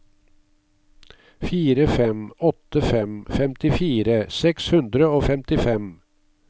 fire fem åtte fem femtifire seks hundre og femtifem